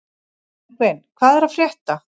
Bergvin, hvað er að frétta?